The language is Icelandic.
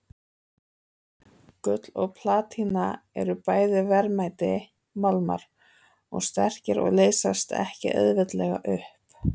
Gull og platína eru bæði verðmætir málmar og sterkir og leysast ekki auðveldlega upp.